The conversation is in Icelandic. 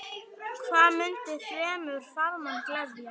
Hvað mundi fremur farmann gleðja?